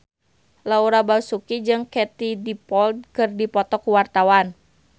Laura Basuki jeung Katie Dippold keur dipoto ku wartawan